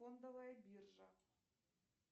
фондовая биржа